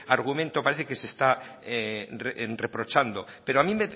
argumento parece que se está reprochando pero a mí